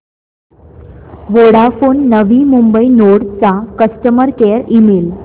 Vodafone नवी Mumbai node चा customer care email